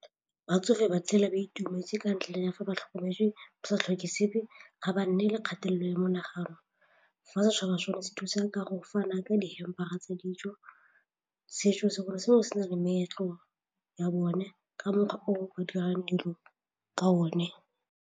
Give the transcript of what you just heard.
Batsofe ba tshela ba itumetse ka ntla ya fa ba tlhokometswe ba sa tlhoke sepe ga ba nne le kgatelelo ya monagano, fa setšhaba sone se thusa ka go fana ka dihempe tsa ditso, setso sengwe le sengwe se na le meetlo ya bone ka mokgwa o ba dirang dilo ka one.